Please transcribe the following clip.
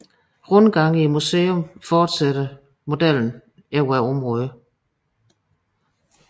Rundgange i museet forsætter modellen over området